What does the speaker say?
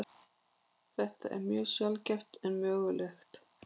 Þetta er mjög sjaldgæft en mögulegt.